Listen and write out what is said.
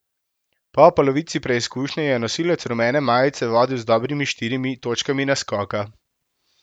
Po polovici preizkušnje je nosilec rumene majice vodil z dobrimi štirimi točkami naskoka.